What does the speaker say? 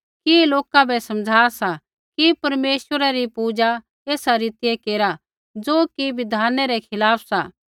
कि ऐ लोका बै समझ़ा सा कि परमेश्वरै री पूजा एसा रीतियै केरा ज़ो कि बिधानै रै खिलाफ़ सा